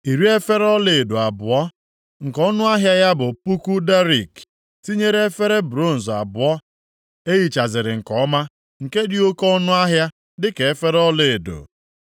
Iri efere ọlaedo abụọ (20) nke ọnụahịa ya bụ puku darik (1,000), + 8:27 Ya bụ kilogram asatọ na ụma anọ tinyere efere bronz abụọ e hichaziri nke ọma, nke dị oke ọnụahịa dị ka efere ọlaedo.